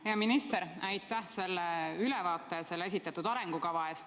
Hea minister, aitäh selle ülevaate ja esitatud arengukava eest!